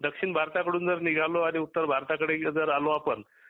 दक्षिण भारताकडून जर निघालो आणि उत्तर भारताकडे जर आलो आपण